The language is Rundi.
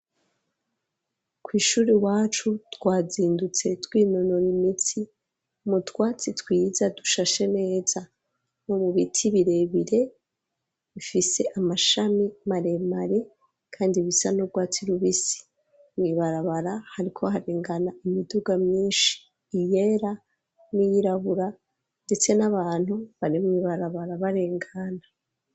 Kw'ishuri iwacu twazindutse twinonora imitsi mu twatsi twiza dushashe neza nko mu biti birebire bifise amashami maremare kandi bisa n'urwatsi rubisi mw'ibarabara hariko harengana imiduga myishi iyera n'iyirabura ndetse n'abantu bari mw'ibarabara barengana.